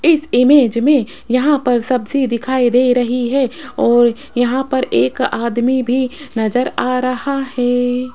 इस इमेज में यहां पर सब्जी दिखाई दे रही है और यहां पर एक आदमी भी नजर आ रहा है।